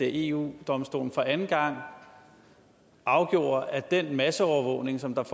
eu domstolen for anden gang afgjorde at den masseovervågning som